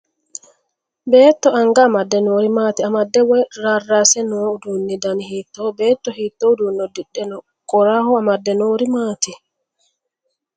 Beetto anga amadde noori maati? Amadde woy rarraasse noo uddunni dani hiittooho? Beetto hiittoo uduunne uddidhe no? Qoraho amadde noori maati?